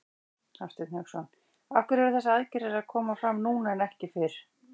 Hafsteinn Hauksson: Af hverju eru þessar aðgerðir að koma fram núna en ekki fyrr?